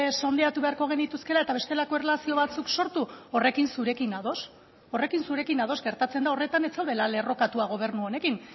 sondeatu beharko genituzkeela eta bestelako erlazio batzuk sortu horrekin zurekin ados horrekin zurekin ados gertatzen da horretan ez zaudela lerrokatua gobernu honekin